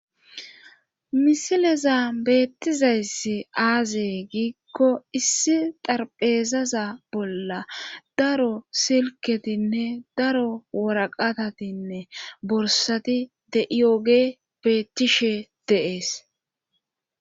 Misileza beettizayssi aazee giikko issi xarpheezaza bolla daro silketinne daro woraqatatinne borsati de'iyooge beettishe deees.